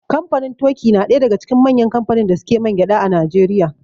Kamfanin toki na ɗaya daga cikin manyan kamfanin da suke mangyaɗa a Najeriya.